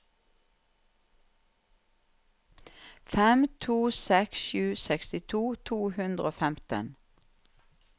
fem to seks sju sekstito to hundre og femten